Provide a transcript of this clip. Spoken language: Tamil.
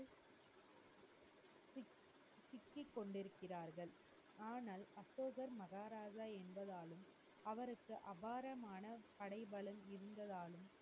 சிக்கிக் கொண்டிருக்கிறர்கள். ஆனால் அசோகா மகாராஜா என்பதாலும் அவருக்கு அபாரமான படைபலம் இருந்ததாலும்,